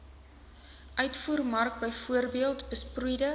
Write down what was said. uitvoermark bv besproeide